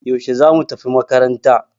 Yaushe zamu tafi makaranta?